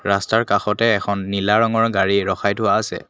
ৰাস্তাৰ কাষতে এখন নীলা ৰঙৰ গাড়ী ৰখাই থোৱা আছে।